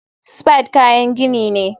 Spade kayan gini ne.